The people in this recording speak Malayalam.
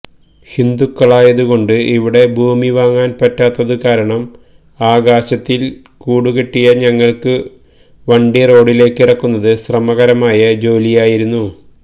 ഹിന്ദുക്കളായതുകൊണ്ട് ഇവിടെ ഭൂമിവാങ്ങാന്പറ്റാത്തതു കാരണം ആകാശത്തില് കുടികെട്ടിയ ഞങ്ങള്ക്ക് വണ്ടി റോഡിലേക്കിറക്കുന്നത് ശ്രമകരമായ ജോലിയായിരുന്നു